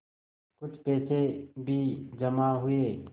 कुछ पैसे भी जमा हुए